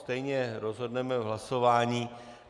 Stejně rozhodneme v hlasování.